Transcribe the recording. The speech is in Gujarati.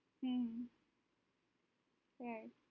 હમ